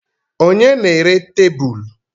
Ònye na-ere tebụl?